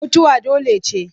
Mutuwa dole ce.